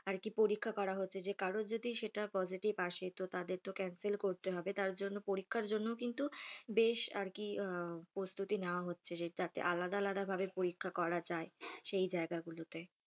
আরকি পরীক্ষা করা হচ্ছে যে কারোর যদি সেটা positive আসে তো তাদের তো cancel করতে হবে তার জন্য পরীক্ষার জন্য কিন্তু বেশ আরকি প্রস্তুতি নেওয়া হচ্ছে যাতে আলাদা আলাদা ভাবে পরীক্ষা করা যায় সেই জায়গাগুলোতে।